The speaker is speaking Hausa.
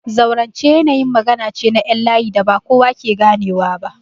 Zaurance yanayin magana ce na ƴan layi da ba kowa ke ganewa ba.